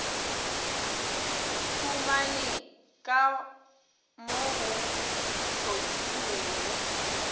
humane ka mo go hlotlilwego